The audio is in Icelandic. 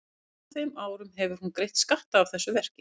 En á þeim árum hefur hún greitt skatta af þessu verki.